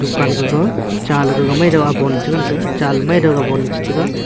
dukan gaga chaley gaga maido bon chengan taiga cha maidow ga bonley chetega.